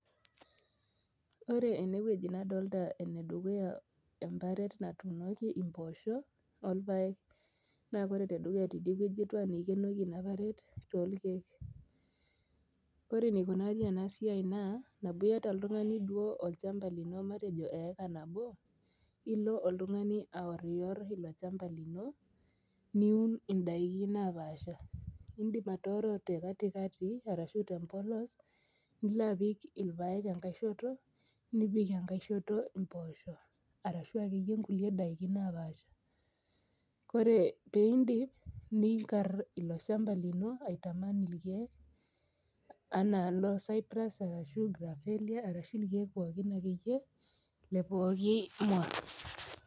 Ore enewueji nadolta enedukuya emparet natuunoki imposho orpaek naa ore tedukuya tidie wueji naa ikienoki inaparet tolkiek. Ore enikunari ena siai naa teniata oltungani olchamba lino matejo eika nabo ilo oltungani aoror ilo shamba lino niun indaiki napasha. Indim atooro tekatikati ashu tempolos nilo apik irpaek nipik enkae shoto mpoosho arashu akeyie kulie daiki naapasha. Kore pindip , ninkar ilo shamba lino aitaman irkiek anaa noocyprus arashu grapelia arashu irkiek akeyie lepooki mwa.